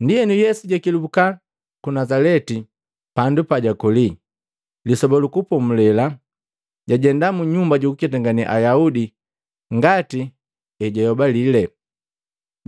Ndienu, Yesu jakelubuka ku Nazaleti, pandu pajukoli. Lisoba lu Kupomulela, jajenda mu nyumba jukuketangane Ayaudi ngati ejayobalile.